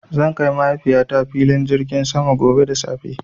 Zan kai Mahaifiyata filin jirgin sama gobe da safe.